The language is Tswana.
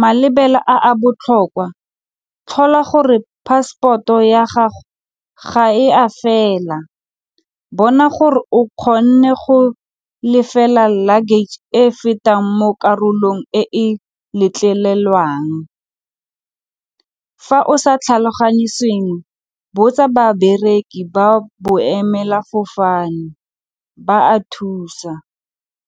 Malebela a a botlhokwa, tlhola gore passport-o ya gago ga e a fela, bona gore o kgonne go lefela luggage e e fetang mo karolong e letlelelwang. Fa o sa tlhaloganye sengwe bo tsa babereki ba boemelafofane ba a thusa.